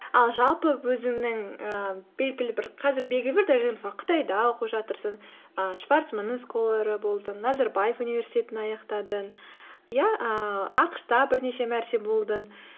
ал жалпы өзіңнің ііі белгілі бір қазір белгілі бір дәрежеде мысалы қытайда оқып жатырсың і шварцманның сколары болдың назарбаев университетін аяқтадың иә ііі ақш та бірнеше мәрте болдың